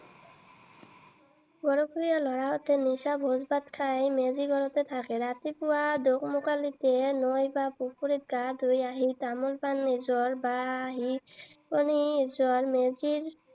গৰখীয়া লৰাহতে নিশা ভোজ ভাত খাই মেজি ঘৰতে থাকে। ৰাতিপুৱা দোকমোকালিতে নৈ বা পুখুৰীত গা ধুই আহি তামোল-পাণ এযোৰ